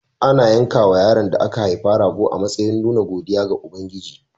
Ana yankawa yaron da aka haifa rago a matsayin nuna godiya ga Ubangiji.